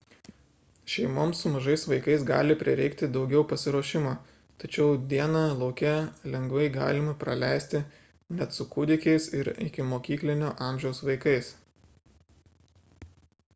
šeimoms su mažais vaikais gali prireikti daugiau pasiruošimo tačiau dieną lauke lengvai galima praleisti net su kūdikiais ir ikimokyklinio amžiaus vaikais